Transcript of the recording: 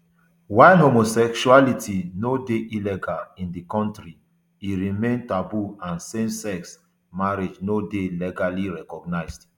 while homosexuality no dey illegal in di kontri e remain taboo and samesex marriage no dey legally recognised